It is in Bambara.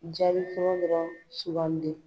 Jaabi fɔlɔ dɔrɔn sugandi